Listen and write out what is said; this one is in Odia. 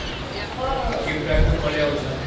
ଠିକ time କୁ ପଳେଇଆସୁଛନ୍ତି